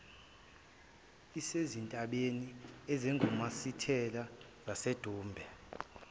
isezintabeni ezingumasithela zasedumbe